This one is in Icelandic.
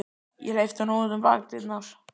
Ég hleypti honum út um bakdyrnar.